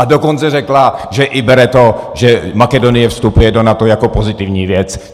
A dokonce řekla, že bere i to, že Makedonie vstupuje do NATO, jako pozitivní věc.